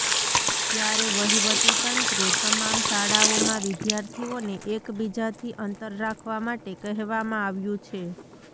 ત્યારે વહીવટીતંત્રે તમામ શાળાઓમાં વિદ્યાર્થીઓને એક બીજાથી અંતર રાખવા માટે કહેવામાં આવ્યું છે